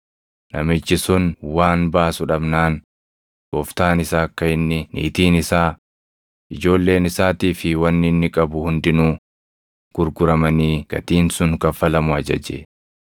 Namichi sun waan baasu dhabnaan gooftaan isaa akka inni, niitiin isaa, ijoolleen isaatii fi wanni inni qabu hundinuu gurguramanii gatiin sun kaffalamu ajaje.